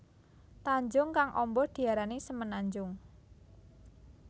Tanjung kang amba diarani semenanjung